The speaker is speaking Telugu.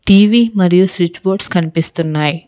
టీవీ మరియు స్విచ్ బోర్డ్స్ కనిపిస్తున్నాయి.